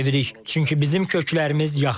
Çünki bizim köklərimiz yaxındır.